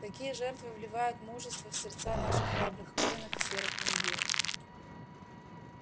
такие жертвы вливают мужество в сердца наших храбрых воинов в серых мундирах